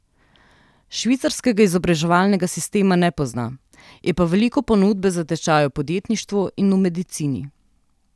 Švicarskega izobraževalnega sistema ne pozna, je pa veliko ponudbe za tečaje o podjetništvu v medicini.